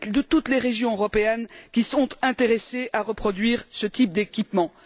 toutes les régions européennes qui sont intéressées à reproduire ce type d'équipements.